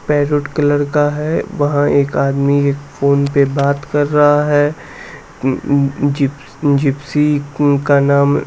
parrot colour का है वहां एक आदमी एक फोन पर बात कर रहा है अं जी जिप्सी का नाम--